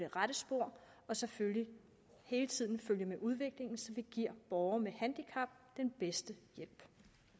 rette spor og selvfølgelig hele tiden følge med udviklingen så vi giver borgere med handicap den bedste hjælp